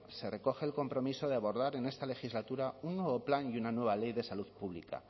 se recoge el compromiso de abordar en esta legislatura un nuevo plan y una nueva ley de salud pública